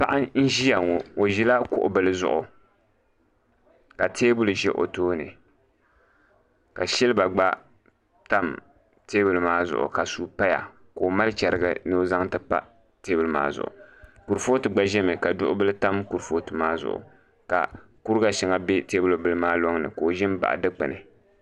Paɣa n ʒiya ŋo o ʒila kuɣu bili zuɣu ka teebuli ʒi o tooni ka silba gba tam teebuli maa zuɣu ka suu paya ka o mali chɛrigi ni o zaŋ ti pa teebuli maa zuɣu kurifooti gba ʒimi ka duɣu bili tam kurifooti maa zuɣu ka kuriga shɛŋa bɛ teebuli bili maa loŋni ka o ʒi n baɣa dikpuni